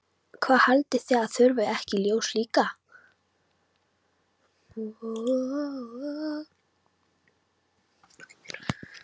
Haldið þið að það þurfi ekki ljós líka?